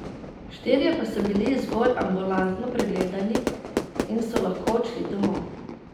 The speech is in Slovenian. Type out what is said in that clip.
Štirje pa so bili zgolj ambulantno pregledani in so lahko odšli domov.